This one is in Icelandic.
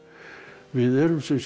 við erum sem sé